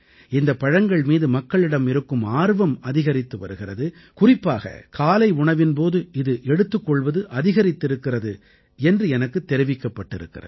இந்தப் பழங்கள் மீது மக்களிடம் இருக்கும் ஆர்வம் அதிகரித்து வருகிறது குறிப்பாக காலை உணவின் போது இது எடுத்துக் கொள்வது அதிகரித்திருக்கிறது என்று எனக்குத் தெரிவிக்கப்பட்டிருக்கிறது